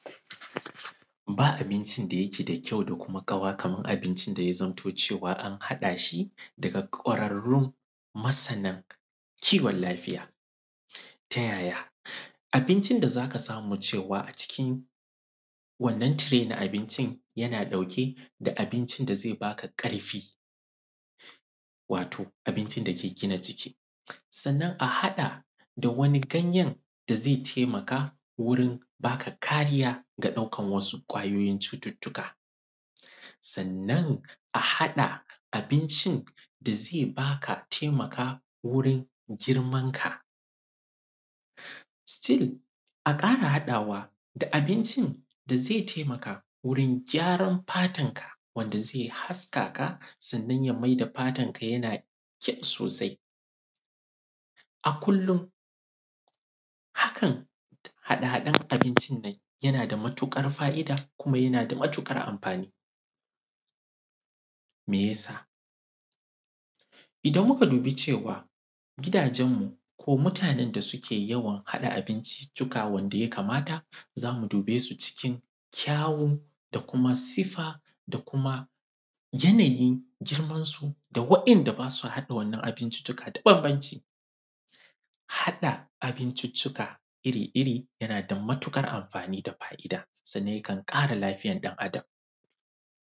ba abincin da yake da kyau da kuma ƙawa kaman abincin da ya zamto an hadashi daga ƙwararrun masana kiwon lafiya ta yaya abincin da zaka samu cewa acikin wannan tire na abincin yana ɗauke da abincin da zai baka ƙarfi wato abincin da ke gina ǳiki sannan a hada da wani ganyan zai taimaka gurin baka karijya ga daukan wasu cututtuka sannan a hada abincin da zai baka a taimaka gurin girman ka still a kara hadawa da abincin da zai taimaka gurin gʲaran fatan ka wanda zai haska ka sannan ya maida fatanka yana kyau sosai a kullin hakan hada-hadan abincin nan yana da matuƙa fa'ida kuma yana da matukar anfani mai yasa idan muka duba cewa gidaǳan mu ko mutanan da ke yawan hada abincintuka wanda ya kamata zamu dube cikin kyawo da kuma sifa da kuma yana yin girman su da wa'inda basu hada wannan abincintuka da babbanci hada abincintuka yana da matuƙar anani da fa'ida sannan ya kan ƙara lafiyan dan adam